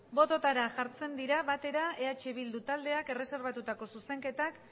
bototara jartzen dira batera eh bildu taldeak erreserbatutako zuzenketak